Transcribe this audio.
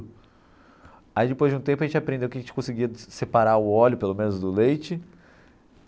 Aí depois de um tempo a gente aprendeu que a gente conseguia separar o óleo, pelo menos, do leite.